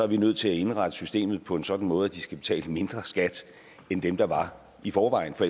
vi nødt til at indrette systemet på en sådan måde at de skal betale mindre skat end dem der var i forvejen for